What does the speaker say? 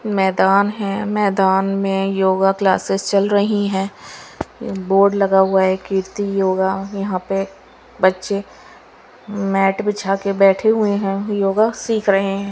मैदान है मैदान में योगा क्लासेस चल रही है बोर्ड लगा हुआ है कीर्ति योगा यहाँ पर बच्चे मैट बिछा के बैठे हुए है योगा सिख रहे है।